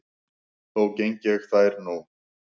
Þó geng ég þær nú